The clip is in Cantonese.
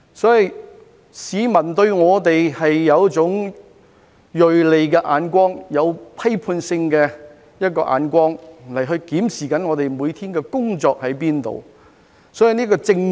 市民對我們有一種銳利的眼光、有批判性的眼光，檢視我們每天的工作表現。